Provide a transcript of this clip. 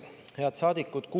Head saadikud!